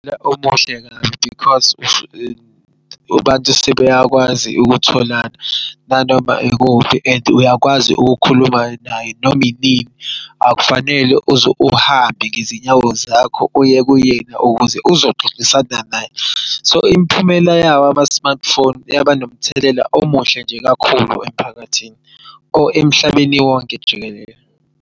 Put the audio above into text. Omuhle kabi because abantu sebeyakwazi ukutholana nanoma ikuphi and uyakwazi ukukhuluma naye nominini akufanele uze uhambe ngenyawo zakho uye kuyena ukuze uzoxoxisana naye. So imiphumela yawo ama-smartphone yaba nomthelela omuhle nje kakhulu emphakathini or emhlabeni wonke jikelele.